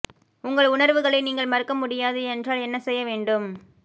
உங்கள் உணர்வுகளை நீங்கள் மறுக்க முடியாது என்றால் என்ன செய்ய வேண்டும்